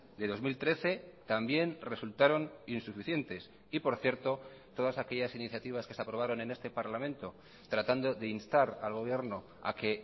de dos mil trece también resultaron insuficientes y por cierto todas aquellas iniciativas que se aprobaron en este parlamento tratando de instar al gobierno a que